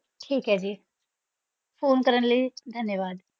ਠੀਕ ਹੈ ਜੀ phone ਕਰਨ ਲਈ ਧੰਨਵਾਦ।